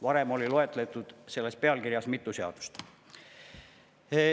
Varem oli loetletud selles pealkirjas mitu seadust.